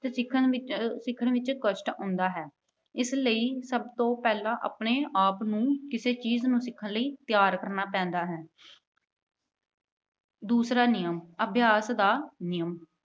ਤਾਂ ਸਿੱਖਣ ਵਿੱਚ ਅਹ ਸਿੱਖਣ ਵਿੱਚ ਕਸ਼ਟ ਆਉਂਦਾ ਹੈ। ਇਸ ਲਈ ਸਭ ਤੋਂ ਪਹਿਲਾਂ ਆਪਣੇ ਆਪ ਨੂੰ ਕਿਸੇ ਚੀਜ਼ ਨੂੰ ਸਿੱਖਣ ਲਈ ਤਿਆਰ ਕਰਨਾ ਪੈਂਦਾ ਹੈੈ। ਦੂਸਰਾ ਨਿਯਮ। ਅਭਿਆਸ ਦਾ ਨਿਯਮ।